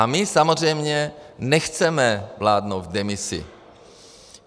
A my samozřejmě nechceme vládnout v demisi.